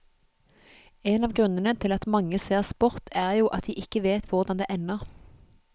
En av grunnene til at mange ser sport er jo at de ikke vet hvordan det ender.